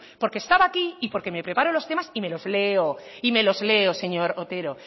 porque estaba aquí y porque me preparo los temas y me los leo y me los leo señor otero